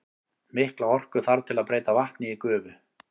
Mikla orku þarf til að breyta vatni í gufu.